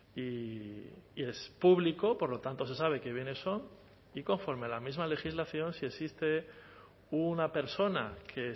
y es público por lo tanto se sabe qué bienes son y conforme a la misma legislación si existe una persona que